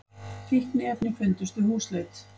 Fíkniefni fundust við húsleit